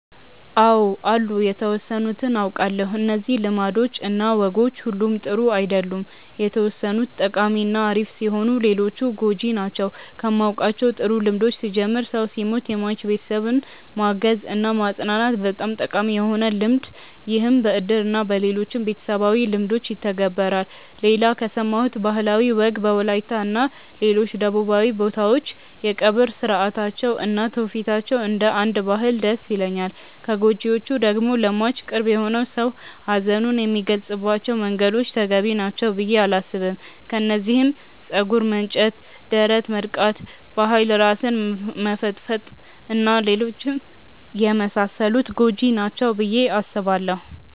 አው አሉ የተወሰኑትን አውቃለው። እነዚህ ልማዶች እና ወጎች ሁሉም ጥሩ አይደሉም የተወሰኑት ጠቃሚ እና አሪፍ ሲሆኑ ሌሎቹ ጎጂ ናቸው። ከማውቃቸው ጥሩ ልምዶች ስጀምር ሰው ሲሞት የሟች ቤተሰብን ማገዝ እና ማፅናናት በጣም ጠቃሚ የሆነ ልምድ ይህም በእድር እና በሌሎችም ቤተሰባዊ ልምዶች ይተገበራል። ሌላ ከሰማሁት ባህላዊ ወግ በወላይታ እና ሌሎች ደቡባዊ ቦታዎች የቀብር ስርአታቸው እና ትውፊታቸው እንደ አንድ ባህል ደስ ይለኛል። ከጎጂዎቹ ደግሞ ለሟች ቅርብ የሆነ ሰው ሀዘኑን የሚገልፀባቸው መንገዶች ተገቢ ናቸው ብዬ አላስብም። ከነዚህም ፀጉር መንጨት፣ ደረት መድቃት፣ በኃይል ራስን መፈጥፈጥ እና ሌሎችም የመሳሰሉት ጎጂ ናቸው ብዬ አስባለው።